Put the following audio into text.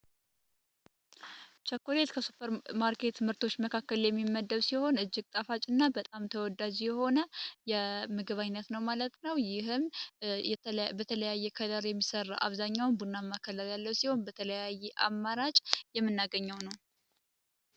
ችኮሌት ከሱፐር ማርኬት ትምህርቶች መካከል የሚመደብ ሲሆን እጅግ ጠፋጭ እና በጣም ተወዳ ዚሆነ የምግባዓይነት ነው ማለት ነው። ይህም በተለያየ ከደር የሚሠራ አብዛኛውን ቡና ማከላት ያለው ሲሆን በተለያየ አማራጭ የመናገኘው ነው።